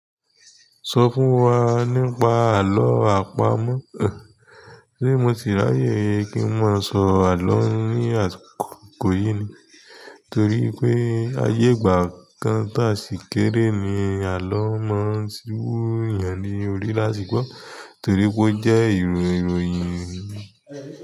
Sọ fún wa nípa àlọ́ àpamọ̀. Eh, ṣé mo ti ráyè kí n má sọ àlọ́ ní àsìkò yìí ni? Torí pé ayé ìgbà kan tá sì kéré ni àlọ́ máa ń ṣíwúù èèyàn ní orí láti gbo torí pé ó jẹ́ ìró ìròyìn.